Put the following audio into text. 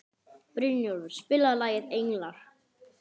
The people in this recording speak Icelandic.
Brynjólfur, spilaðu lagið „Englar“.